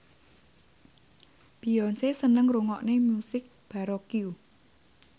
Beyonce seneng ngrungokne musik baroque